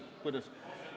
Kuidas?